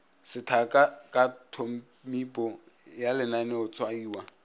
sethaka ka tphomipo ya lenaneotshwaiwa